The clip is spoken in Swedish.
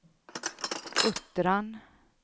Uttran